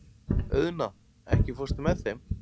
Auðna, ekki fórstu með þeim?